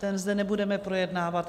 Ten zde nebudeme projednávat.